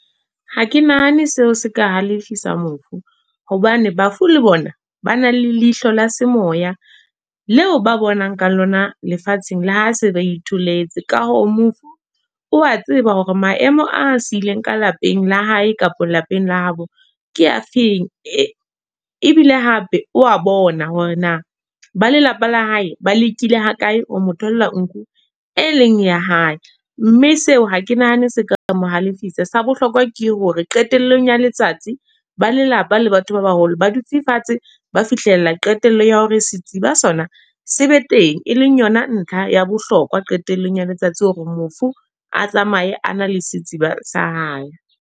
Ha ke nahane seo se ka halefisa mofu. Hobane bafu le bona, ba na le leihlo la semoya. Le o ba bonang ka lona lefatsheng, le ha se ba itholetse. Ka hoo mofu, o a tseba hore maemo a sileng ka lapeng la hae kapa lapeng la habo, ke a feng. Ebile hape wa bona hore na ba lelapa la hae ba lekile ha kae ho mo tholla nku e leng ya hae. Mme seo ha ke nahane seka mohalesifa. Sa bohlokwa ke hore qetellong ya letsatsi. Ba lelapa le batho ba baholo ba dutse fatshe, ba fihlella qetello ya hore setsiba sona se be teng. E leng yona ntlha ya bohlokwa hore qetellong ya letsatsi, hore mofu a tsamaye a na le setsiba sa hae.